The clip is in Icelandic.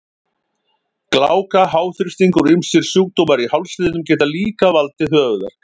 Gláka, háþrýstingur og ýmsir sjúkdómar í hálsliðum geta líka valdið höfuðverk.